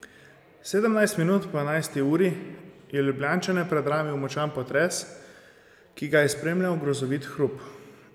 Sedemnajst minut po enajsti uri je Ljubljančane predramil močan potres, ki ga je spremljal grozovit hrup.